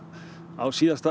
á síðasta